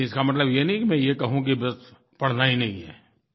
लेकिन इसका मतलब ये नहीं कि मैं ये कहूँ कि बस पढ़ना ही नहीं है